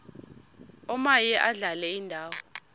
omaye adlale indawo